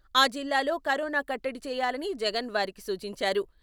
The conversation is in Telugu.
ఆ జిల్లాల్లో కరోనా కట్టడి చేయాలని జగన్ వారికి సూచించారు.